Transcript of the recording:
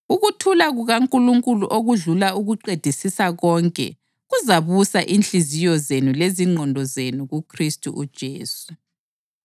Ukuthula kukaNkulunkulu okudlula ukuqedisisa konke kuzabusa inhliziyo zenu lezingqondo zenu kuKhristu uJesu.